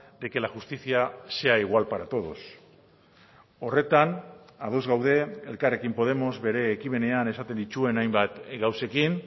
de que la justicia sea igual para todos horretan ados gaude elkarrekin podemos bere ekimenean esaten dituen hainbat gauzekin